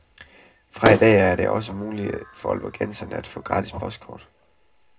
Fra i dag af er det også muligt for ålborgenserne at få gratis postkort.